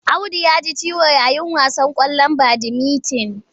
Audu ya ji ciwo yayin wasan ƙwallon badimitin.